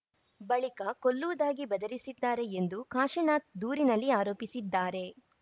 ಬಳಿಕ ಕೊಲ್ಲುವುದಾಗಿ ಬೆದರಿಸಿದ್ದಾರೆ ಎಂದು ಕಾಶಿನಾಥ್‌ ದೂರಿನಲ್ಲಿ ಆರೋಪಿಸಿದ್ದಾರೆ